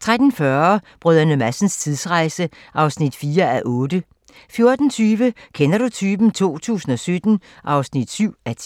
13:40: Brdr. Madsens tidsrejse (4:8) 14:20: Kender du typen? 2017 (7:10)